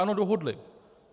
Ano, dohodli.